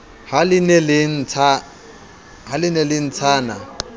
ha le ne le ntshana